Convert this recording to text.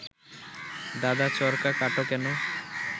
দাদা চরকা কাটো কেন